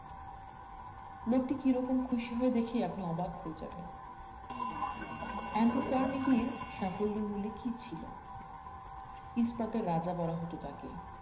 লোকটি কিরকম খুশি হয়ে দেখে আপনি অবাক হয়ে যাবেন আন্ডু কার্নিকির সাফল্যের মূলে কি ছিল ইস্পাতের রাজা বলা হতো তাকে